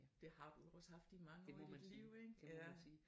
Det har du jo også haft i mange år af dit liv ikke ja